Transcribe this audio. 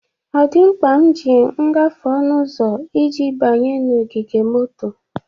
O di mkpa m ji ngafe onu uzo iji banye n'ogige moto?